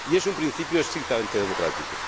Y es un principio estrictamente democrático.